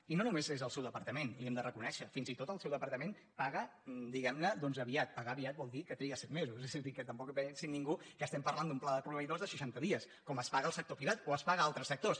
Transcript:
i no només és el seu departament li ho hem de reconèixer fins i tot el seu departament paga diguem·ne aviat pagar aviat vol dir que triga set me·sos és a dir que tampoc es pensi ningú que estem par·lant d’un pla de proveïdors de seixanta dies com es paga al sector privat o es paga a altres sectors